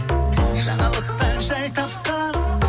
жаңалықтан жай тапқан